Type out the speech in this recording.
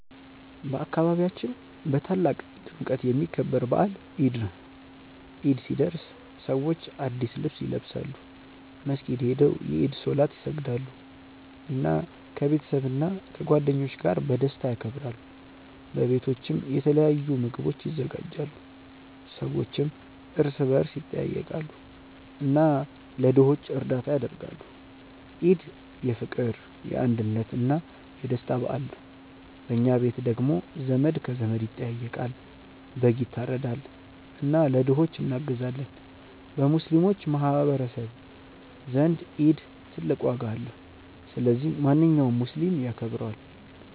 በአካባቢያችን በታላቅ ድምቀት የሚከበር በዓል ኢድ ነው። ኢድ ሲደርስ ሰዎች አዲስ ልብስ ይለብሳሉ፣ መስጊድ ሄደው የኢድ ሶላት ይሰግዳሉ፣ እና ከቤተሰብና ከጓደኞች ጋር በደስታ ያከብራሉ። በቤቶችም የተለያዩ ምግቦች ይዘጋጃሉ፣ ሰዎችም እርስ በርስ ይጠያየቃሉ እና ለድሆች እርዳታ ያደርጋሉ። ኢድ የፍቅር፣ የአንድነት እና የደስታ በዓል ነው። በኛ ቤት ደግሞ ዘመድ ከዘመድ ይጠያየቃል፣ በግ ይታረዳል እና ለድሆች እናግዛለን። በሙስሊሞች ማህቀረሰብ ዘንድ ኢድ ትልቅ ዋጋ አለው። ስለዚህ ማንኛውም ሙስሊም ያከብረዋል።